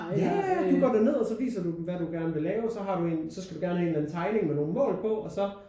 Ja ja du går derned og så viser du dem hvad du gerne vil lave og så har du en så skal du gerne have en eller anden tegning med nogen mål på og så